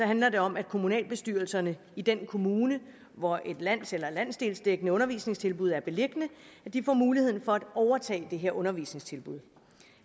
handler det om at kommunalbestyrelserne i den kommune hvor et lands eller landsdelsdækkende undervisningstilbud er beliggende får mulighed for at overtage det her undervisningstilbud